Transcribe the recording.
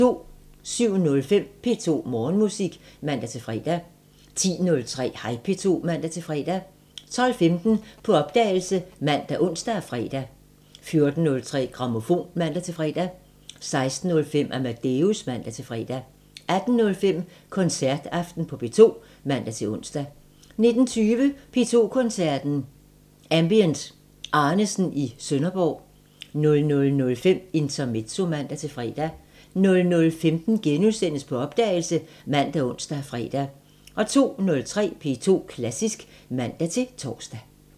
07:05: P2 Morgenmusik (man-fre) 10:03: Hej P2 (man-fre) 12:15: På opdagelse ( man, ons, fre) 14:03: Grammofon (man-fre) 16:05: Amadeus (man-fre) 18:05: Koncertaften på P2 (man-ons) 19:20: P2 Koncerten -Ambient Arnesen i Sønderborg 00:05: Intermezzo (man-fre) 00:15: På opdagelse *( man, ons, fre) 02:03: P2 Klassisk (man-tor)